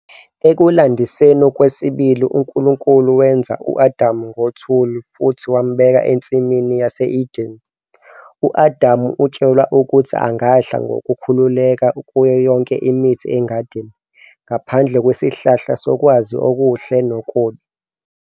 Ekulandiseni kwesibili, uNkulunkulu wenza u-Adamu ngothuli futhi wambeka eNsimini yase-Edene. U-Adam utshelwa ukuthi angadla ngokukhululeka kuyo yonke imithi engadini, ngaphandle kwesihlahla sokwazi okuhle nokubi.